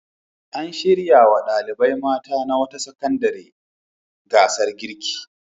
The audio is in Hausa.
An shirya wa ɗalibai mata na wata sakandare gasar girki.